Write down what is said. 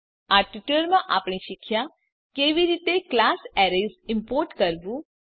આ ટ્યુટોરીયલમાં આપણે શીખ્યા કેવી રીતે ક્લાસ એરેઝ ઈમ્પોર્ટ કરવું